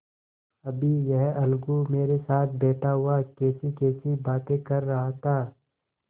अभी यह अलगू मेरे साथ बैठा हुआ कैसीकैसी बातें कर रहा था